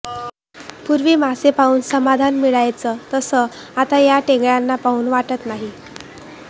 पूर्वी मासे पाहून समाधान मिळायचं तसं आता या टेंगळय़ाला पाहून वाटत नाही